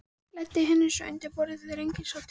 Læddi henni svo undir borðið þegar enginn sá til.